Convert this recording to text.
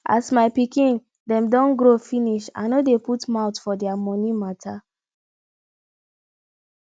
as my pikin dem don grow finish i no dey put mouth for their moni mata